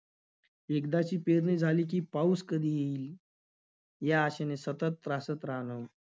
एकदाची पेरणी झाली की, पाऊस कधी येईल? या आशेने सतत त्रासत राहणं,